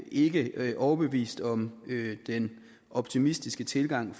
ikke er overbevist om den optimistiske tilgang